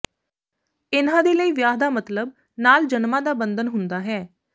ਇਨ੍ਹਾਂ ਦੇ ਲਈ ਵਿਆਹ ਦਾ ਮਤਲੱਬ ਨਾਲ ਜਨਮਾਂ ਦਾ ਬੰਧਨ ਹੁੰਦਾ ਹਨ